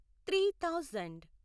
three thousand